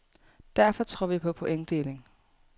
Derfor tror vi på pointdeling.